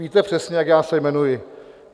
Víte přesně, jak já se jmenuji.